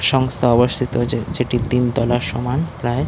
সংস্থা অবস্থিত যে যেটি তিনতলার সমান প্রায়।